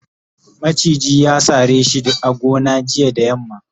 maciji ya sare shi a gona jiya da yamma